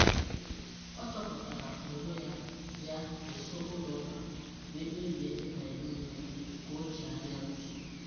O chọpụtara onwe ya ya nso ụlọ ụka wee kpebie ịbanye n’ime ka o chegharịa uche.